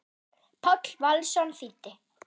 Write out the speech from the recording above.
Páll Valsson þýddi.